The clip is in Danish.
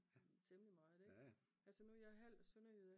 Temmelig meget ik? Altså nu er jeg halv sønderjyde